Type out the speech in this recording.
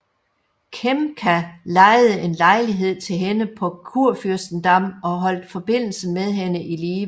Kempka lejede en lejlighed til hende på Kurfürstendamm og holdt forbindelsen med hende i live